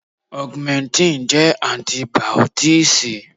Augmentin jẹ́ Antibìọ́tììsì.